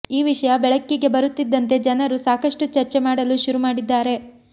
ಈ ವಿಷಯ ಬೆಳಕಿಗೆ ಬರುತ್ತಿದ್ದಂತೆ ಜನರು ಸಾಕಷ್ಟು ಚರ್ಚೆ ಮಾಡಲು ಶುರು ಮಾಡಿದ್ದಾರೆ